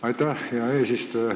Aitäh, hea eesistuja!